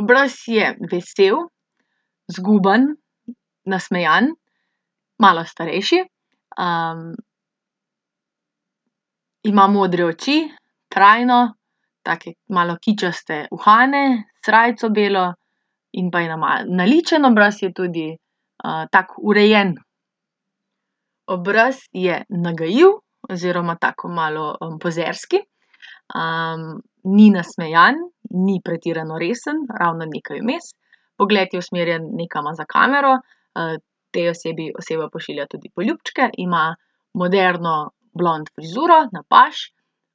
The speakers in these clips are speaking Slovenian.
Obraz je vesel, zguban, nasmejan, malo starejši, ima modre oči, trajno, take malo kičaste uhane, srajco belo, in pa je naličen obraz je tudi. tak urejen. Obraz je nagajiv oziroma tako malo, pozerski. ni nasmejan, ni pretirano resen, ravno nekaj vmes. Pogled je usmerjen nekam za kamero, tej osebi, oseba pošilja tudi poljubčke. Ima moderno blond frizuro, na paž.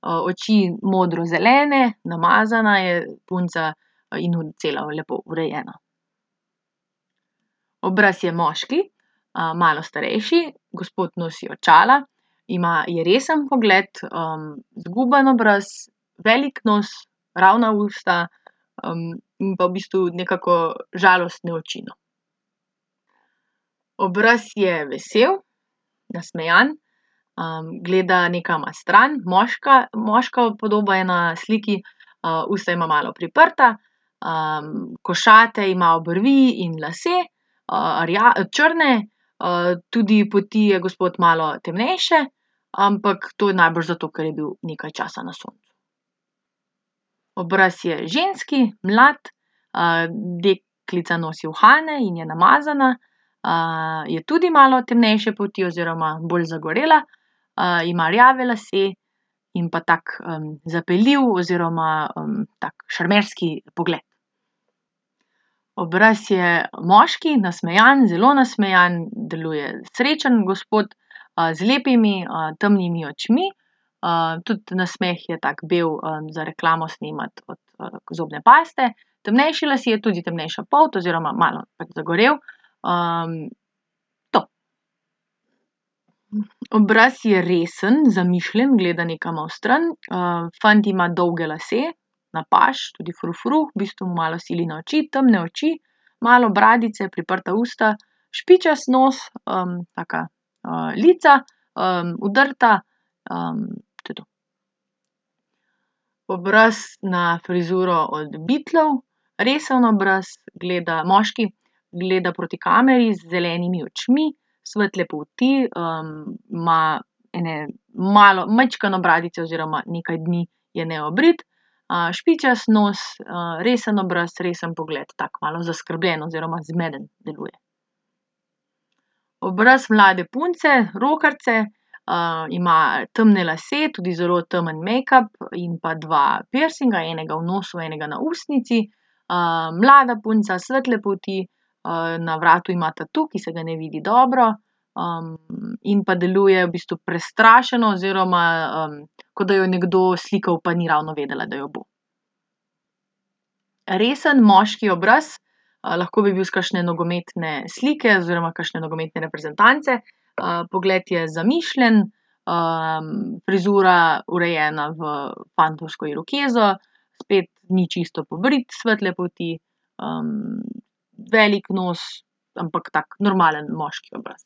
oči, modrozelene. Namazana je punca, in cela lepo urejena. Obraz je moški. malo starejši, gospod nosi očala. Ima je resen pogled, zguban obraz, velik nos, ravna usta, pa v bistvu nekako žalostne oči, no. Obraz je vesel, nasmejan, gleda nekam na stran. Moška, moška podoba je na sliki. usta ima malo priprta, košate ima obrvi in lase, črne, tudi polti je gospod malo temnejše, ampak to je najbrž zato, ker je bil nekaj časa na soncu. Obraz je ženski, mlad, deklica nosi uhane in je namazana. je tudi malo temnejše polti oziroma bolj zagorela. ima rjave lase in pa tak, zapeljiv oziroma, tak šarmerski pogled. Obraz je moški, nasmejan, zelo nasmejan, deluje srečen gospod, z lepimi, temnimi očmi. tudi nasmeh je tak bel, za reklamo snemati od, zobne paste. Temnejši lasje, tudi temnejša polt, oziroma malo pač zagorel. to. Obraz je resen, zamišljen, gleda nekam v stran, fant ima dolge lase, na paž, tudi frufru, v bistvu malo sili na oči. Twmne oči, malo bradice, priprta usta, špičast nos, taka, lica, udrta, to je to. Obraz na frizuro od Beatlov. Resen obraz, gleda, moški, gleda proti kameri z zelenimi očmi. Svetle polti, ima ene malo, majčkeno bradice oziroma nekaj dni je neobrit. špičast nos, resen obraz, resen pogled, tako malo zaskrbljen oziroma zmeden deluje. Obraz mlade punce, rokerice. ima temne lase, tudi zelo temen mejkap in pa dva pirsinga. Enega v nosu, enega v ustnici. mlada punca, svetle polti, na vratu ima tatu, ki se ga ne vidi dobro. in pa deluje v bistvu prestrašeno oziroma, kot da jo je nekdo slikal, pa ni ravno vedela, da jo bo. Resen moški obraz, lahko bi bil s kakšne nogometne slike oziroma kakšne nogometne reprezentance. pogled je zamišljen, frizura urejena v fantovsko irokezo, spet ni čisto pobrit, svetle polti, velik nos, ampak tak normalen moški obraz.